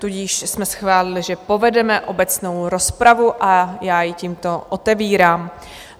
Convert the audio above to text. Tudíž jsme schválili, že povedeme obecnou rozpravu, a já ji tímto otevírám.